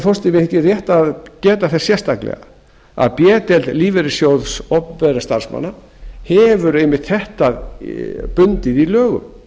forseti mér þykir rétt að geta þess sérstaklega að b deild lífeyrissjóðs opinberra starfsmanna hefur einmitt þetta bundið í lögum